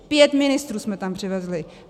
Pět ministrů jsme tam přivezli!